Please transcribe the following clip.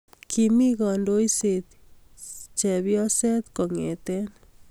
Kimi kandoiset cepyoset kongetei